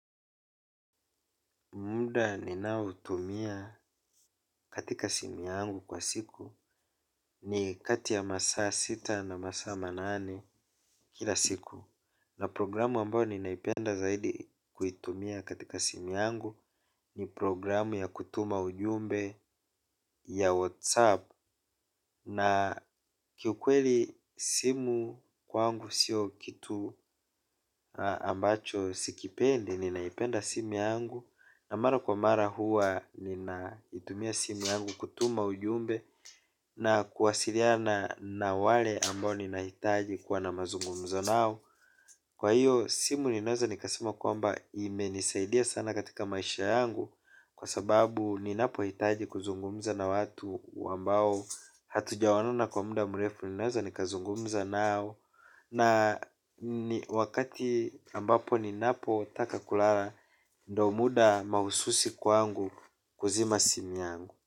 Muda ninaotumia katika simu yangu kwa siku. Ni kati ya masa sita na masaa manane kila siku. Na programu ambao ninaipenda zaidi kuitumia katika simu yangu. Ni programu ya kutuma ujumbe ya WhatsApp na kiukweli simu kwangu sio kitu ambacho sikipendi, ninaipenda simu yangu na mara kwa mara huwa ninaitumia simu yangu kutuma ujumbe na kuwasiliana na wale ambao ninahitaji kuwa na mazungumza nao. Kwa hiyo simu ninaweza nikasema kwamba imenisaidia sana katika maisha yangu kwa sababu ninapohitaji kuzungumza na watu ambao hatujaonana kwa muda mrefu ninaweza nikazungumza nao. Na ni wakati ambapo ninapotaka kulala. Ndio muda mahususi kwangu kuzima simu yangu.